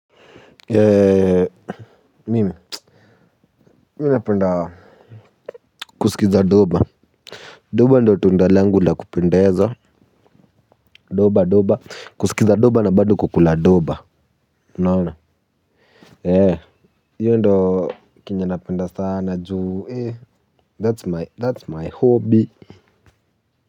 Mimi, mimi ninapenda kuskiza doba, doba ndio tunda langu la kupendeza doba doba, kusikiza doba na bado kukula doba, unaona, eeh, hiyo ndio chenye napenda sana juu, eeh, that's my, that's my hobby.